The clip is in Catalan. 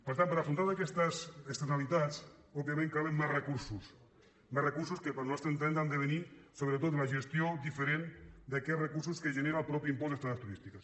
per tant per afrontar aquestes externalitats òbviament calen més recursos més recursos que pel nostre entendre han de venir sobretot de la gestió diferent d’aquests recursos que genera el mateix impost d’estades turístiques